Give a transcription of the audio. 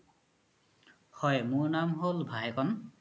হয় মোৰ নাম হ'ল ভাইকন